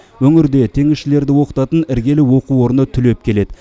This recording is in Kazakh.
өңірде теңізшілерді оқытатын іргелі оқу орны түлеп келеді